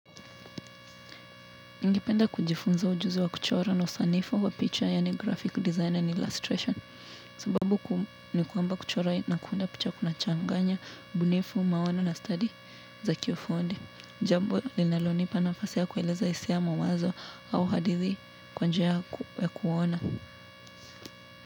Ningependa kujifunza ujuzi wa kuchora na usanifu wa picha yani graphic design and illustration sababu kuu ni kwamba kuchora na kuunda picha kuna changanya, ubunifu, maono na stadi za kiufundi. Jambo linalonipa nafasi kuelezea hisia ya mawazo au hadithi kwanjia ya kuona.